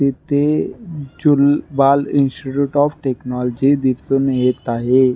इथे Jhulelal institute of technology दिसुन येत आहे.